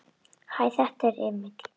Hæ, þetta er Emil.